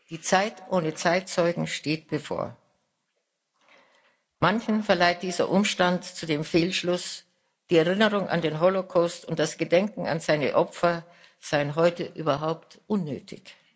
Die Zeit ohne Zeitzeugen steht bevor. Manchen verleitet dieser Umstand zu dem Fehlschluss, die Erinnerung an den Holocaust und das Gedenken an seine Opfer seien heute überhaupt unnötig.